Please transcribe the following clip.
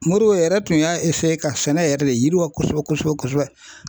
Modibo yɛrɛ tun y'a ka sɛnɛ yɛrɛ de yiriwa kosɛbɛ kosɛbɛ kosɛbɛ